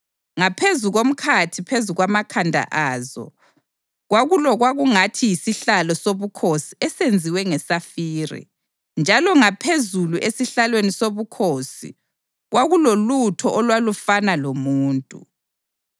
Ngaphezu komkhathi phezu kwamakhanda azo kwakulokwakungathi yisihlalo sobukhosi esenziwe ngesafire, njalo ngaphezulu esihlalweni sobukhosi kwakulolutho olwalufana lomuntu.